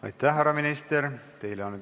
Aitäh, härra minister!